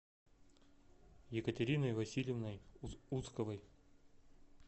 екатериной васильевной усковой